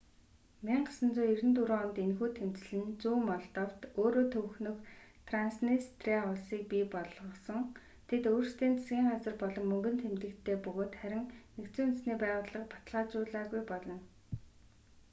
1994 онд энэхүү тэмцэл нь зүүн молдовт өөрөө төвхнөх транснистриа улсыг бий болгосон тэд өөрсдийн засгын газар болон мөнгөн тэмдэгттэй бөгөөд харин нүб баталгаажаагүй болно